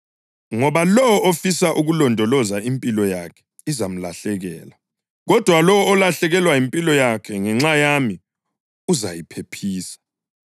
Ngoba lowo ofisa ukulondoloza impilo yakhe izamlahlekela, kodwa lowo olahlekelwa yimpilo yakhe ngenxa yami uzayiphephisa.